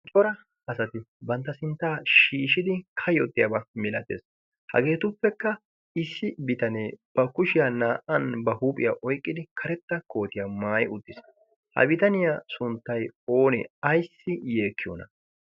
Cora asati bantta sinttaa shiishidi kayottiyaabaa milatees. Hageetuppekka issi bitanee ba kushiyaa naa'an ba huuphiyaa oyqqidi karetta kootiyaa maayi uttiis. Ha bitaniyaa sunttay oonee? Ayssi yeekkiyoona?